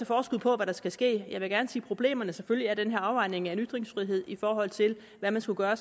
forskud på hvad der skal ske jeg vil gerne se på problemerne selvfølgelig er der den her afvejning af en ytringsfrihed i forhold til hvad man skulle gøre